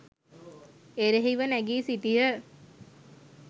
එරෙහිව නැගී සිටියහ.